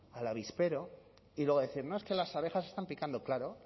al avispero y luego decir no es que las abejas están picando claro